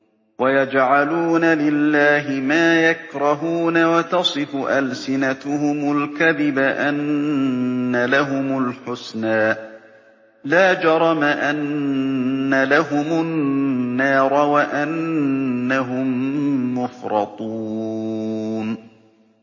وَيَجْعَلُونَ لِلَّهِ مَا يَكْرَهُونَ وَتَصِفُ أَلْسِنَتُهُمُ الْكَذِبَ أَنَّ لَهُمُ الْحُسْنَىٰ ۖ لَا جَرَمَ أَنَّ لَهُمُ النَّارَ وَأَنَّهُم مُّفْرَطُونَ